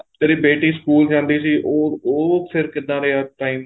ਤੇਰੀ ਬੇਟੀ ਸਕੂਲ ਜਾਂਦੀ ਸੀ ਉਹ ਉਹ ਫ਼ੇਰ ਕਿੱਦਾਂ ਰਿਹਾ time